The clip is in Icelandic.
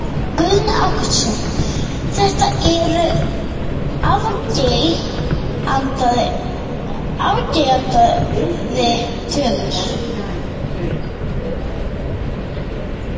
Guðni Ágústsson, þetta eru afgerandi tölur?